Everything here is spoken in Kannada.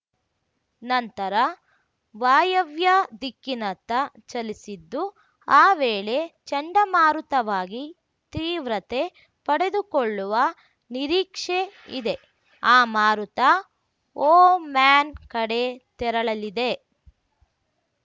ನಂತರ ವಾಯವ್ಯ ದಿಕ್ಕಿನತ್ತ ಚಲಿಸಿದ್ದು ಆ ವೇಳೆ ಚಂಡಮಾರುತವಾಗಿ ತೀವ್ರತೆ ಪಡೆದುಕೊಳ್ಳುವ ನಿರೀಕ್ಷೆ ಇದೆ ಆ ಮಾರುತ ಓಮ್ಯಾನ್‌ ಕಡೆ ತೆರಳಲಿದೆ